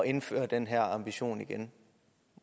indføre den her ambition igen